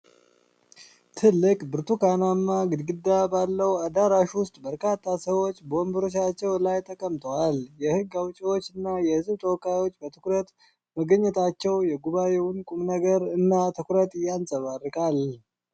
ትልቅ ብርቱካናማ ግድግዳ ባለው አዳራሽ ውስጥ፣ በርካታ ሰዎች በወንበሮቻቸው ላይ ተቀምጠዋል። የሕግ አውጪዎች እና የህዝብ ተወካዮች በትኩረት መገኘታቸው የጉባኤውን ቁምነገር እና ትኩረት ያንጸባርቃል።